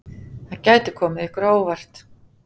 Það gæti komið ykkur á óvart!